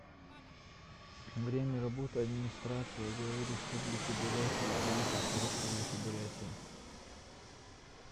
время работы администрация главы республики бурятия и правительства республики бурятия